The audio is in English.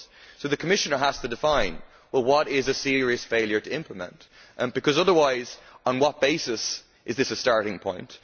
So the Commissioner has to define what is a serious failure to implement because otherwise on what basis is this a starting point?